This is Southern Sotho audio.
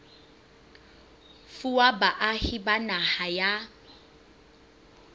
fuwa baahi ba naha ya